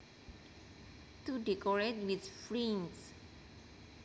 To decorate with fringe